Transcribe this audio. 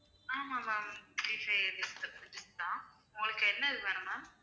ஆமாம் ma'am இது prepaid dish தான் உங்களுக்கு என்னது வேணும் ma'am